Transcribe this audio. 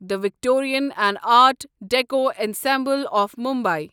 the Victorian and art deco ensemble of Mumbai